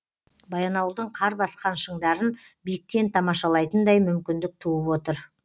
баянауылдың қар басқан шыңдарын биіктен тамашалайтындай мүмкіндік туып отыр